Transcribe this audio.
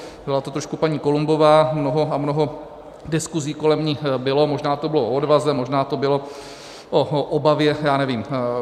Byla to trošku paní Columbová, mnoho a mnoho diskusí kolem ní bylo, možná to bylo o odvaze, možná to bylo o obavě, já nevím.